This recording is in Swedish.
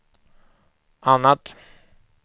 annat